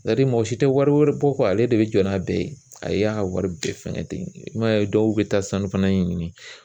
mɔgɔ si tɛ wari wɛrɛ bɔ ko ale de bɛ jɔ n'a bɛɛ ye, a y'a ka wari bɛɛ fɛngɛ ten i ma ye dɔw bɛ taa sanu fana ɲini.